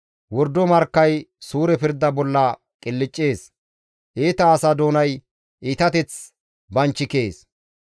Wordo markkay suure pirda bolla qilccees; iita asa doonay iitateth banchikees.